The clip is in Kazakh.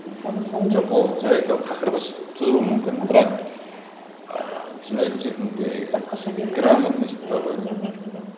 жоқ ол жарайды ол тақырып тудыруы мүмкін бірақ ы журналист ретінде грамотность бар ғой мхм мхм